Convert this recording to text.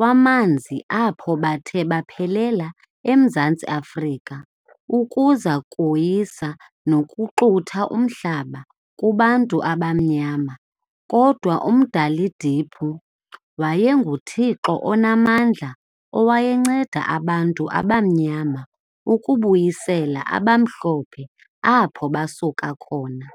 wamanzi apho bathe baphelela eMzantsi Afrika ukuza koyisa nokuxutha umhlaba kubantu abamnyama kodwa uMdalidiphu waye nguThixo onamandla owayenceda abantu abamnyama ukubuyisela abamhlophe apho basuka khona.